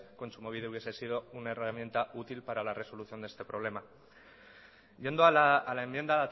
kontsumobide hubiese sido una herramienta útil para la resolución de este problema yendo a la enmienda